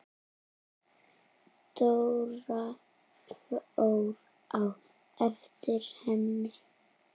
Dóra fór á eftir henni.